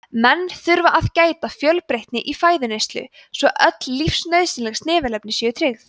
menn þurfa að gæta fjölbreytni í fæðuneyslu svo öll lífsnauðsynleg snefilefni séu tryggð